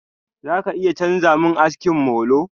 Za ka iya chanza mun aski molo?